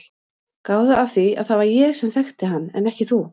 Gáðu að því að það var ég sem þekkti hann en ekki þú.